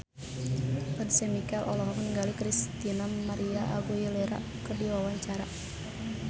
Once Mekel olohok ningali Christina María Aguilera keur diwawancara